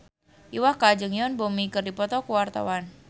Iwa K jeung Yoon Bomi keur dipoto ku wartawan